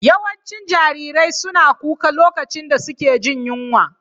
Yawancin jarirai suna kuka lokacin da suke jin yunwa.